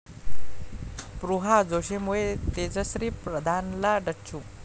स्पृहा जोशीमुळे तेजश्री प्रधानला डच्चू